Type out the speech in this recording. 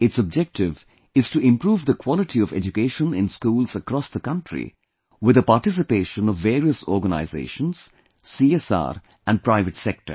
Its objective is to improve the quality of education in schools across the country with the participation of various organizations, CSR and private sector